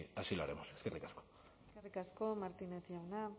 así lo haremos eskerrik asko eskerrik asko martínez jauna